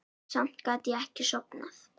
Samt gat ég ekki sofnað.